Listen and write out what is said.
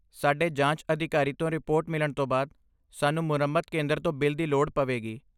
ਸਾਡੇ ਜਾਂਚ ਅਧਿਕਾਰੀ ਤੋਂ ਰਿਪੋਰਟ ਮਿਲਣ ਤੋਂ ਬਾਅਦ, ਸਾਨੂੰ ਮੁਰੰਮਤ ਕੇਂਦਰ ਤੋਂ ਬਿੱਲ ਦੀ ਲੋੜ ਪਵੇਗੀ।